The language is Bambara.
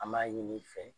An b'a ɲini i fɛ